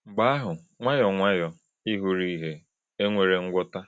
Mgbe ahụ, nwayọọ nwayọọ, ị hụrụ ìhè—e nwere ngwọta.